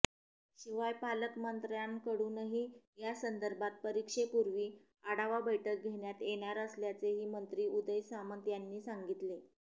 शिवाय पालकमंत्र्यांकडुनही यासंदर्भात परीक्षेपूर्वी आढावा बैठक घेण्यात येणार असल्याचेही मंत्री उदय सामंत यांनी सांगितले